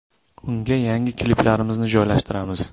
Unga yangi kliplarimizni joylashtiramiz.